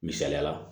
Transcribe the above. Misaliyala